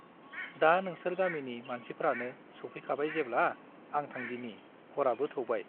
दा नोंसोर गामिनि मानसिफ्रानो सौफैखाबाय जेब्ला , आं थांदिनि , हराबो थौबाय ।